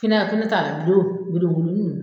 Finɛ a ko ne ta la bulo gudugudu nn